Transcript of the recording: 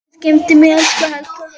Guð geymi þig, elsku Helga.